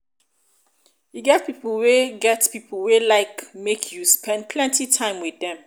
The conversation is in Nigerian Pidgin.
e get pipo wey get pipo wey like make you spend plenty time with them